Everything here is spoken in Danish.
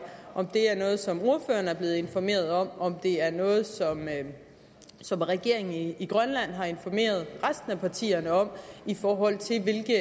om det er noget som ordføreren er blevet informeret om om det er noget som regeringen i grønland har informeret resten af partierne om i forhold til hvilket